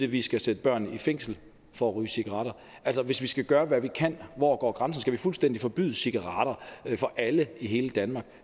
vi skal sætte børn i fængsel for at ryge cigaretter altså hvis vi skal gøre hvad vi kan hvor går grænsen vi fuldstændig forbyde cigaretter for alle i hele danmark